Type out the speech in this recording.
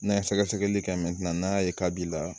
N'a ye sɛgɛsɛgɛli kɛ n'a y'a ye k'a b'i la